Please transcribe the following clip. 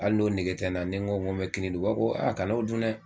Ali n'o nege tɛ n na ni ko ko n bɛ kini dun u b'a fɔ ko a kan'o dun dɛ!